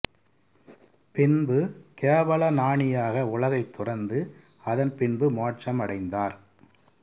பின்பு கேவலஞானியாக உலகைத் துறந்து அதன் பின்பு மோட்சம் அடைந்தார்